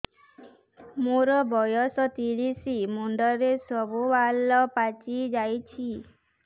ମୋର ବୟସ ତିରିଶ ମୁଣ୍ଡରେ ସବୁ ବାଳ ପାଚିଯାଇଛି